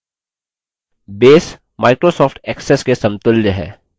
base microsoft access के समतुल्य है